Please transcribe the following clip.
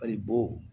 Ayi bɔ